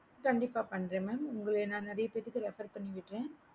கண்டிப்பா பன்றேன் mam உங்களைய நான் நெறைய பேத்துக்கு refer பண்றேன்